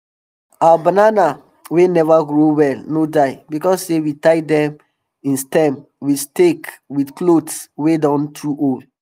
our banana wey neva grow well no die because sey we tie dem im stem with stake with cothes wey don too old